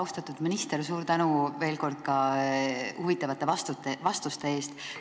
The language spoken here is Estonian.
Austatud minister, suur tänu veel kord huvitavate vastuste eest!